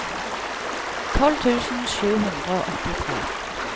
tolv tusen sju hundre og åttitre